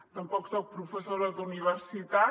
tampoc soc professora d’universitat